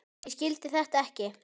Ég skildi þetta ekki.